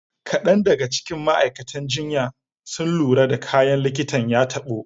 Kadan daga cikin ma'aikatan jinya sun lura da kayan likitan ya tabo.